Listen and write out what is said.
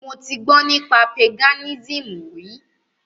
Mo ti gbọ́ nípa Paganism rí.